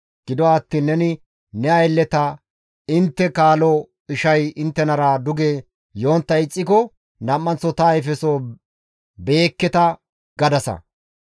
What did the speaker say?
Gido attiin neni ne aylleta, ‹Intte kaalo ishay inttenara duge yontta ixxiko nam7anththo ta ayfeso beyekketa› gadasa.